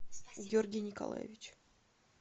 георгий николаевич